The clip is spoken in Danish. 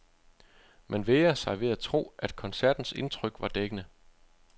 Man vægrer sig ved at tro, at koncertens indtryk var dækkende.